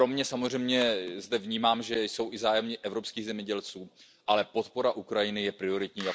Samozřejmě vnímám, že jsou zde zájmy i evropských zemědělců, ale podpora Ukrajiny je prioritní.